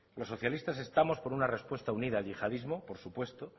los socialistas estamos por una respuesta unida al yihadismo por supuesto